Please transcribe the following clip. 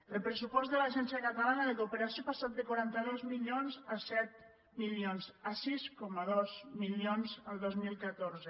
el pressupost de l’agència catalana de cooperació ha passat de quaranta dos milions a set milions a sis coma dos milions el dos mil catorze